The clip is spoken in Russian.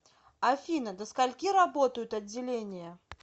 афина до скольки работают отделения